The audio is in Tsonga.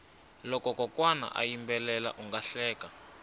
loko kokwana a yimbela unga hleka